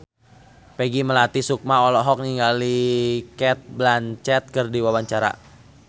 Peggy Melati Sukma olohok ningali Cate Blanchett keur diwawancara